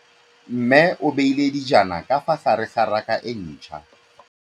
Mmê o beile dijana ka fa gare ga raka e ntšha.